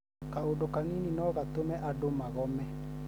kaũndũ kanini no gatũme andũ magome